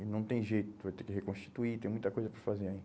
E não tem jeito, vai ter que reconstituir, tem muita coisa para fazer aí.